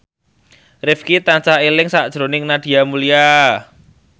Rifqi tansah eling sakjroning Nadia Mulya